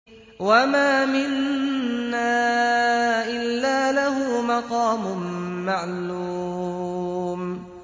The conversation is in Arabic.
وَمَا مِنَّا إِلَّا لَهُ مَقَامٌ مَّعْلُومٌ